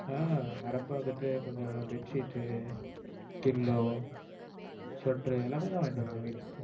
ஆஹ் வர்றப்போ வந்துட்டு கொஞ்சம் bedsheet, pillow, sweater உ எல்லாமே தான் வாங்கிட்டு வந்தேன் வீட்டுக்கு.